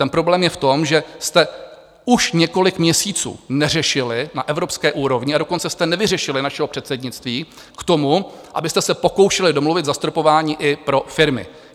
Ten problém je v tom, že jste už několik měsíců neřešili na evropské úrovni, a dokonce jste nevyřešili našeho předsednictví k tomu, abyste se pokoušeli domluvit zastropování i pro firmy.